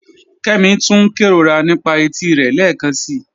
Kẹ́mí túń n kẹróra nípa ètí rẹ lẹ́kansi